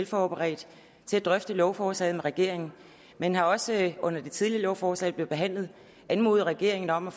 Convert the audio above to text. forberedt til at drøfte lovforslaget med regeringen man har også under det tidligere lovforslag da det blev behandlet anmodet regeringen om at